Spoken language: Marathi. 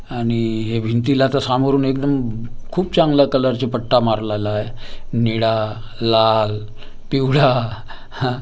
आणि हे भिंतीला तर सामोरून एकदम खूप चांगल्या कलरचा पट्टा मारलेला आहे निळा लाल पिवळा ह.